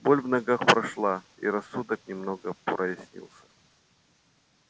боль в ногах прошла и рассудок немного прояснился